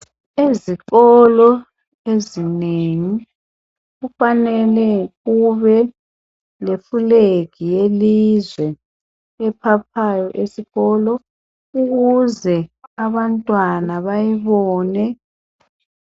ezikolo ezinengi kufanele ukuthi kube le flag yelizwe ephaphayo esikolo ukuze abantwana bayibone